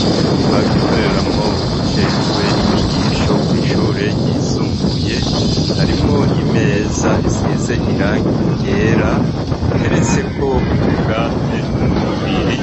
Mu cumba gikoreramwo ubujejwe inyigisho kw'ishure ryisumbuye harimwo imeza isize irangi yera iteretseko utubwate tubiri